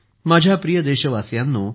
माझ्या प्रिय देशवासियांनो